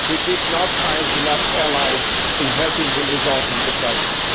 He did not find enough allies to help him resolve the crisis.